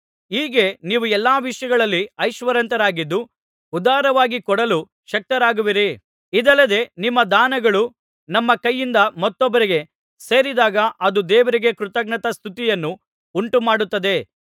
ಹೀಗೆ ನೀವು ಎಲ್ಲಾ ವಿಷಯಗಳಲ್ಲಿ ಐಶ್ವರ್ಯವಂತರಾಗಿದ್ದು ಉದಾರವಾಗಿ ಕೊಡಲು ಶಕ್ತರಾಗುವಿರಿ ಇದಲ್ಲದೆ ನಿಮ್ಮ ದಾನಗಳು ನಮ್ಮ ಕೈಯಿಂದ ಮತ್ತೊಬ್ಬರಿಗೆ ಸೇರಿದಾಗ ಅದು ದೇವರಿಗೆ ಕೃತಜ್ಞತಾಸ್ತುತಿಯನ್ನು ಉಂಟುಮಾಡುತ್ತದೆ